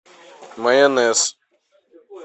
майонез